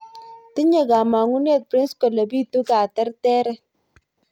Tinye kamang'unet prince kole biitu katerteret